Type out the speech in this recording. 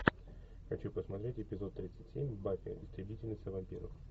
хочу посмотреть эпизод тридцать семь баффи истребительница вампиров